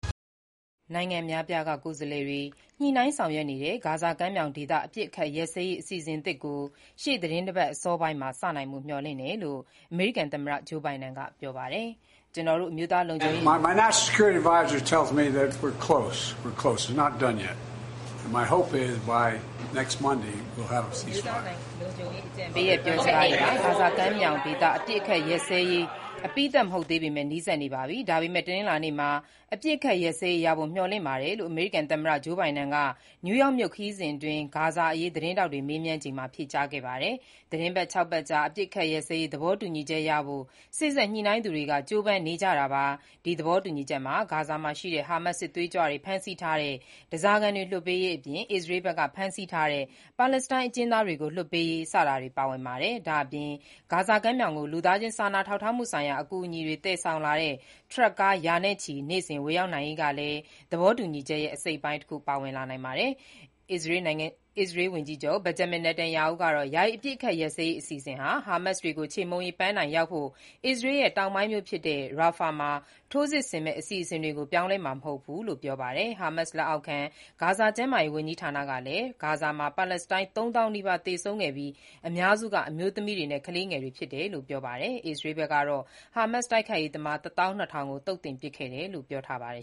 နိုင်ငံအများအပြားက ကိုယ်စားလှယ်တွေ ညှိနှိုင်းဆောင်ရွက်နေတဲ့ ဂါဇာကမ်းမြောင်ဒေသ အပစ်အခတ်ရပ်စဲရေး အစီအစဉ်သစ်ကို ရှေ့သီတင်းပတ်အစောပိုင်းမှာ စနိုင်ဖို့မျှော်လင့်တယ်လို့ အမေရိကန်သမ္မတ ဂျိုးဘိုင်ဒင်က ပြောပါတယ်။ “ကျနော်တို့ရဲ့ အမျိုးသားလုံခြုံရေးအကြံပေးရဲ့ ပြောစကားအရ ဂါဇာကမ်းမြောင်ဒေသ အပစ်အခတ်ရပ်စဲရေးရဖို့ အပြီးသတ် မဟုတ်သေးပေမဲ့ နီးစပ်နေပါပြီ။ လာမယ့် တနင်္လာနေ့မှာ အပစ်အခတ် ရပ်စဲရေးရဖို့ မျှော်လင့်ပါတယ်” လို့ အမေရိကန်သမ္မတ ဂျိုးဘိုင်ဒင်က နယူးယောက်မြို့ ခရီးစဉ်အတွင်း ဂါဇာအရေး သတင်းထောက်တွေမေးမြန်းချိန်မှာ ဖြေကြားခဲ့တာပါ။ သီတင်း ၆ ပတ်ကြာ အပစ်အခတ်ရပ်စဲရေး သဘောတူညီချက်ရဖို့ စေ့စပ်ညှိနှိုင်းသူတွေက ကြိုးပမ်းနေကြတာပါ။ ဒီ သဘောတူညီချက်မှာ ဂါဇာမှာရှိတဲ့ ဟာမတ်စ် စစ်သွေးကြွတွေ ဖမ်းဆီးထားတဲ့ ဓားစာခံတွေ လွှတ်ပေးရေးအပြင် အစ္စရေးဘက်က ဖမ်းဆီးထားတဲ့ ပါလက်စတိုင်း အကျဉ်းသားတွေကို လွှတ်ပေးရေး စတာတွေ ပါဝင်ပါတယ်။ ဒါ့အပြင် ဂါဇာကမ်းမြောင်ကို လူသားချင်းစာနာထောက်ထားမှုဆိုင်ရာ အကူအညီတွေ သယ်ဆောင်လာတဲ့ ထရပ်ကား ရာနဲ့ချီ နေ့စဉ်ဝင်ရောက်နိုင်ရေးကလည်း သဘောတူညီချက်ရဲ့အစိတ်အပိုင်းတခုအဖြစ် ပါဝင်လာနိုင်ပါတယ်။ အစ္စရေးဝန်ကြီးချုပ် Benjamin Netanyahu ကတော့ ယာယီအပစ်အခတ်ရပ်စဲရေး အစီအစဉ်ဟာ ဟာမတ်စ်တွေကို ချေမှုန်းရေး ပန်းတိုင်ရောက်ဖို့ အစ္စရေးရဲ့ တောင်ပိုင်းမြို့ဖြစ်တဲ့ Rafah မှာ ထိုးစစ်ဆင်မဲ့ အစီအစဉ်တွေကို ပြောင်းလဲမှာမဟုတ်ဘူးလို့ ပြောပါတယ်။ ဟားမတ်စ်လက်အောက်ခံ ဂါဇာ ကျန်းမာရေး ဝန်ကြီးဌာနကလည်း ဂါဇာမှာ ပါလက်စတိုင်း ၃ သောင်းနီးပါး သေဆုံးခဲ့ပြီး အများစုက အမျိုးသမီးများနှင့် ကလေးငယ်တွေဖြစ်တယ်လို့ ပြောပါတယ်။ အစ္စရေးကတော့ ဟာမတ်စ် တိုက်ခိုက်ရေးသမား ၁၂,၀၀၀ ကို သုတ်သင်ပစ်ခဲ့တယ်လို့ ပြောပါတယ်။